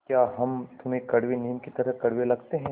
या हम तुम्हें कड़वे नीम की तरह कड़वे लगते हैं